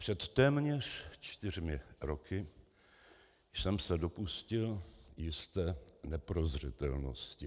Před téměř čtyřmi roky jsem se dopustil jisté neprozřetelnosti.